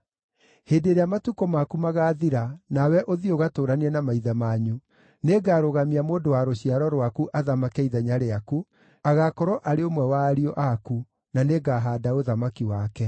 Hĩndĩ ĩrĩa matukũ maku magaathira nawe ũthiĩ ũgatũũranie na maithe manyu, nĩngarũgamia mũndũ wa rũciaro rwaku athamake ithenya rĩaku, agaakorwo arĩ ũmwe wa ariũ aku, na nĩngahaanda ũthamaki wake.